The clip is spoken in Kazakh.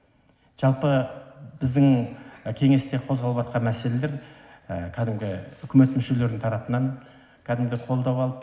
жалпы біздің кеңесте қозғалыватқан мәселелер кәдімгі үкімет мүшелерінің тарапынан кәдімгі қолдау алып